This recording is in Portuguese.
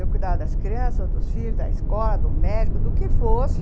Eu cuidava das crianças, dos filhos, da escola, do médico, do que fosse.